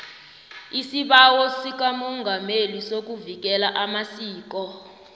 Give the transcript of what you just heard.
isibawo sikamongameli sokuvikela amasiko